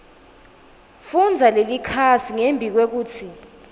fundza lelikhasi ngembikwekutsi